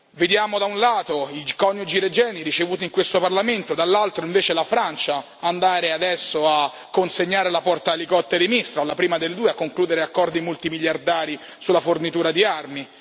Vediamo, da un lato, i coniugi Regeni ricevuti in questo Parlamento, dall'altro invece, la Francia che consegna la portaelicotteri Mistral, la prima delle 2, che conclude accordi multimiliardari sulla fornitura di armi.